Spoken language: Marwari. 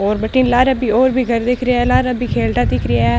और बठने लारे भी और घर दिख रहे है लार भी खेलडा दिख रा है।